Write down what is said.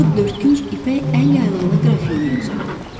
O dördkünc ipək əl yaylığını qrafineya uzatdı.